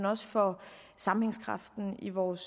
også for sammenhængskraften i vores